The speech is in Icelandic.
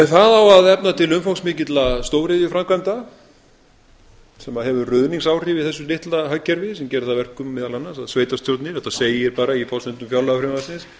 það á að efna til umfangsmikilla stóriðjuframkvæmda sem hefur ruðningsáhrif í þessu litla hagkerfi sem gerir það að verkum meðal annars að sveitarstjórnir þetta segir bara í forsendum fjárlagafrumvarpsins